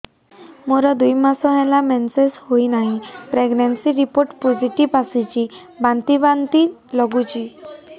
ମୋର ଦୁଇ ମାସ ହେଲା ମେନ୍ସେସ ହୋଇନାହିଁ ପ୍ରେଗନେନସି ରିପୋର୍ଟ ପୋସିଟିଭ ଆସିଛି ବାନ୍ତି ବାନ୍ତି ଲଗୁଛି